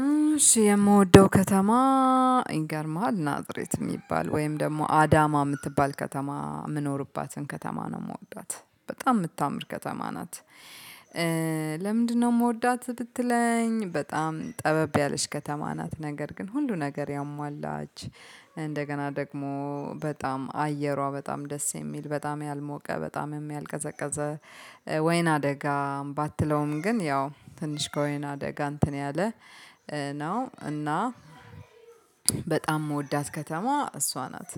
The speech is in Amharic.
እሺ የምወደው ከተማ ይገርመሃል ናዝሬት የሚባል፣ ወይም ደግሞ አዳማ የምትባል ከተማ የምኖርባትን ከተማ ነው፣ የምወዳት በጣም የምታምር ከተማ ናት። ለምንድነው የምወዳት ብትለኝ በጣም ጠበብ ያለች ከተማ ናት ነገር ግን ሁሉ ነገር ያሟላች እንደገና ደግሞ በጣም አየሯ በጣም ደስ የሚል በጣም ያልሞቀ በጣም ያልቀዘቀዘ ወይን አደጋ ባትለውም ግን ያው ትንሽ ከወይን አደጋ እንትን ያለ ነው እና በጣም የምወዳት ከተማ እሷ ናት።